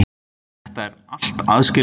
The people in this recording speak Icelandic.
Þetta eru allt aðskilin mál.